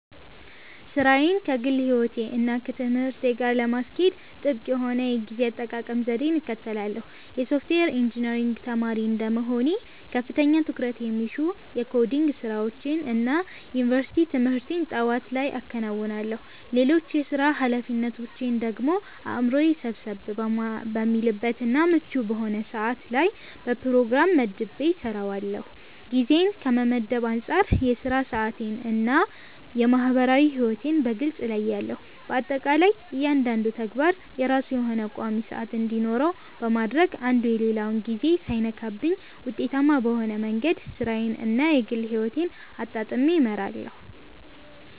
ሥራዬን ከግል ሕይወቴ እና ከትምህርቴ ጋር ለማስኬድ ጥብቅ የሆነ የጊዜ አጠቃቀም ዘዴን እከተላለሁ። የሶፍትዌር ኢንጂነሪንግ ተማሪ እንደመሆኔ ከፍተኛ ትኩረት የሚሹ የኮዲንግ ስራዎችን እና የዩኒቨርሲቲ ትምህርቴን ጠዋት ላይ አከናውናለሁ። ሌሎች የሥራ ኃላፊነቶቼን ደግሞ አእምሮዬ ሰብሰብ በሚልበት እና ምቹ በሆነ ሰዓት ላይ በፕሮግራም መድቤ እሰራዋለሁ። ጊዜን ከመመደብ አንፃር የሥራ ሰዓቴን እና የማህበራዊ ሕይወቴን በግልጽ እለያለሁ። በአጠቃላይ እያንዳንዱ ተግባር የራሱ የሆነ ቋሚ ሰዓት እንዲኖረው በማድረግ አንዱ የሌላውን ጊዜ ሳይነካብኝ ውጤታማ በሆነ መንገድ ሥራዬን እና የግል ሕይወቴን አጣጥሜ እመራለሁ።